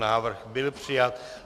Návrh byl přijat.